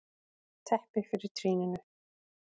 Teppi fyrir trýninu.